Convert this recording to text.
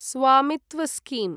स्वामित्व स्कीम्